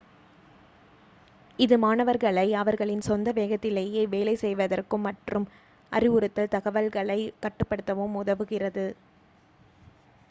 இது மாணவர்களை அவர்களின் சொந்த வேகத்திலேயே வேலை செய்வதற்கும் மற்றும் அறிவுறுத்தல் தகவல்களை கட்டுப்படுத்தவும் உதவுகிறது